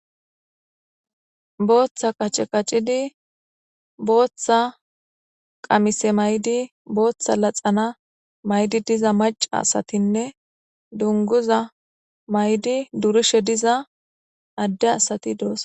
Boththa qace qacidi boththa qamise mayidi boththa laxana mayidi dizza macca assathinne dunguzza mayidi durishe dizza adde assathi dossonna.